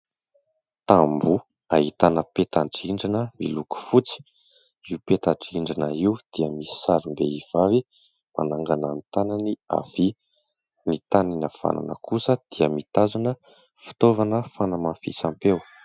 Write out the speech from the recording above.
Tamboho ahitana peta-drindrina miloko fotsy, io peta-drindrina io dia misy sarim-behivavy manangana ny tanany havia, ny tanany havanana kosa dia mitazona fitaovana fanamafisam-peo.